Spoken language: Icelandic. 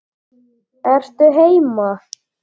Ertu heima?